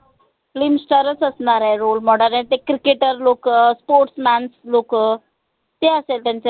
film star च असनार आहे role model अन ते cricketer लोक sports man लोक हे असेल त्यांचे